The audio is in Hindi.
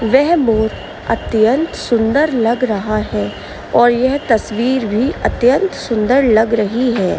यह मोर अत्यंत सुन्दर लग रहा है और यह तस्वीर भी अत्यंत सुन्दर लग रही है।